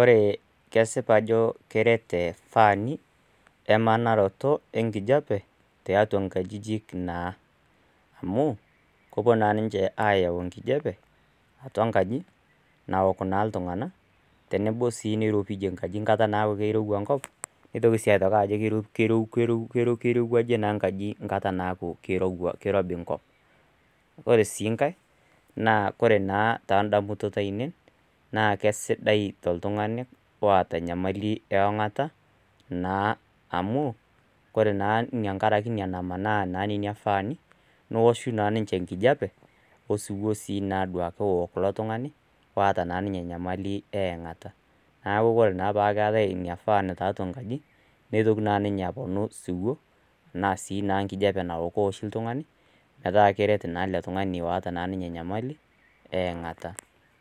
Ore kesipa ajo keret ifaani emanarato enkijape tiatua nkajijik amu kepuo ayau enkijape tenwbo niropijie enkaji nkata neaku kirowua enkop nitoki aaku kirowuajie enkaji enkara nairobi enkop ore si nkae ma ore tondamunot ainei na kesidai toltunganiloota emoyian osero koree na renkaraki nona faani, neaku ore peaku keetae inafaan nitoki ninye aponu metaa kweet oltungani oata enyemali enkiengata